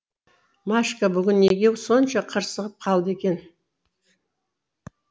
машка бүгін неге сонша қырсығып қалды екен